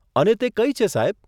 અને તે કઈ છે, સાહેબ?